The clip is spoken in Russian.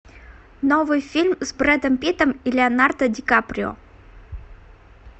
новый фильм с брэдом питтом и леонардо ди каприо